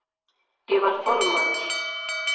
Ég var formaður